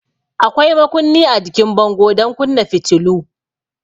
Akwai makunni a jikin bango don kunna fitilu.